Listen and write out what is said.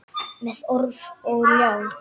Með orf og ljá.